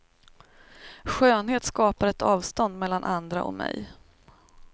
Skönhet skapar ett avstånd mellan andra och mig.